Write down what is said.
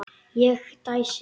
Ég dæsi.